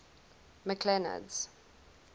mcclernand's